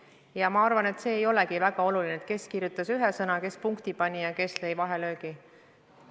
Ja ma arvan, et see ei olegi väga oluline, kes kirjutas ühe sõna, kes punkti pani ja kes lõi vahelöögi.